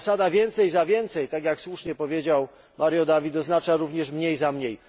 Zasada więcej za więcej, tak jak słusznie powiedział Mário David, oznacza również mniej za mniej.